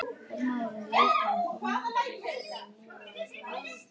Hermaðurinn lét hann umhyggjusamlega niður á gólfið.